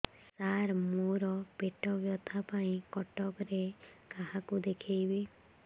ସାର ମୋ ର ପେଟ ବ୍ୟଥା ପାଇଁ କଟକରେ କାହାକୁ ଦେଖେଇବି